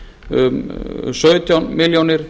um sautján milljónir